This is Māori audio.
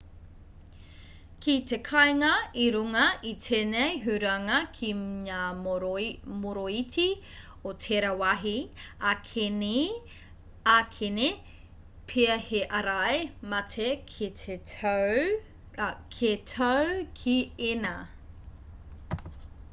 ki te kāinga i runga i tēnei huranga ki ngā moroiti o tērā wāhi ākene pea he ārai mate kē tāu ki ēnā